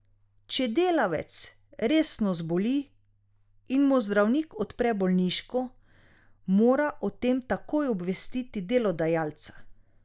Če delavec resno zboli in mu zdravnik odpre bolniško, mora o tem takoj obvestiti delodajalca.